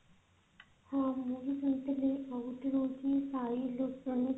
ହଁ ମୁଁ ବି କହୁଥିଲି କି ସାଇ electronics